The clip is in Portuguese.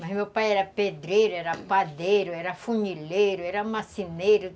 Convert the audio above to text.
Mas meu pai era pedreiro, era padeiro, era funileiro, era marceneiro.